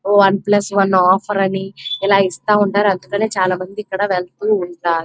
One plus one offer అని ఇస్థుంటారు. అందుకనే చాల మంది వెళ్తూ ఉంటారు.